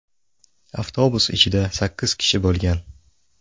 Avtobus ichida sakkiz kishi bo‘lgan.